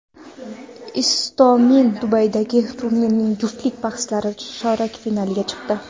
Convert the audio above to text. Istomin Dubaydagi turnirning juftlik bahslarida chorak finalga chiqdi.